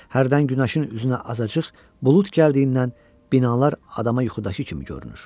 Hərdən günəşin üzünə azacıq bulud gəldiyindən binalar adama yuxudakı kimi görünür.